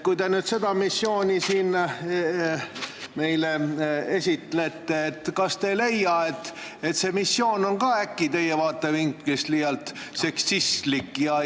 Kui te nüüd seda missiooni siin meile esitlete, kas te ei leia, et see missioon on ka teie vaatevinklist liialt seksistlik?